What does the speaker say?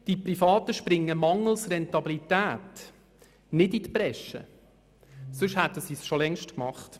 Die Privaten springen mangels Rentabilität nicht in die Bresche, sonst hätten sie es schon längst getan.